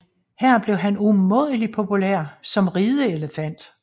Her blev han umådelig populær som rideelefant